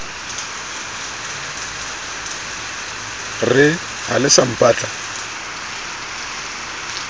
re ha le sa mpatla